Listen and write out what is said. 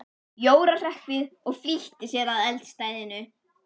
Jóra hrökk við og flýtti sér að eldstæðinu.